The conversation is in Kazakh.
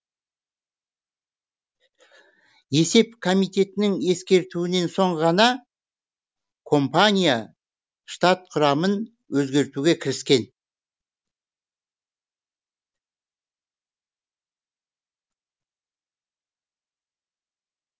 есеп комитетінің ескертуінен соң ғана компания штат құрамын өзгертуге кіріскен